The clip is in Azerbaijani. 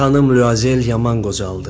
Xanım Luazel yaman qocaldı.